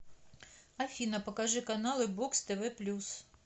афина покажи каналы бокс тв плюс